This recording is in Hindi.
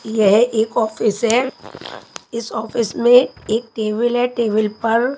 यह एक ऑफिस है इस ऑफिस में एक टेबल है टेबल पर--